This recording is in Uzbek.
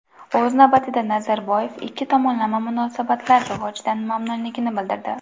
O‘z navbatida, Nazarboyev ikki tomonlama munosabatlar rivojidan mamnunligini bildirdi.